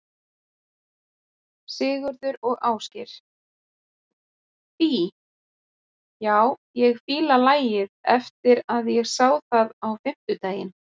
Sigurður og Ásgeir: Fí, já ég fíla lagið eftir að ég sá það á fimmtudaginn?